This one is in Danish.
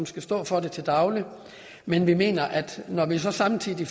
skal stå for det til daglig men vi mener at når der samtidig